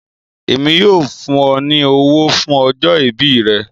Ẹ̀mi yóò fún ọ ni ọ̀wọ̀ fún ọjọ́-ìbí rẹ̀